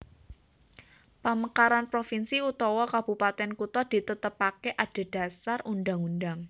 Pamekaran provinsi utawa Kabupatèn kutha ditetepaké adhedhasar Undhang undhang